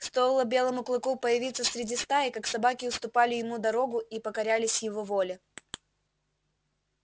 стоило белому клыку появиться среди стаи как собаки уступали ему дорогу и покорялись его воле